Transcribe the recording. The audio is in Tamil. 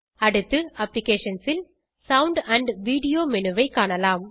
அடுத்து அப்ளிகேஷன்ஸ் ல் சவுண்ட் மேனு ஐ காணலாம்